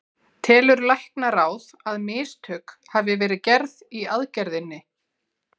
Telur læknaráð, að mistök hafi verið gerð í aðgerðinni?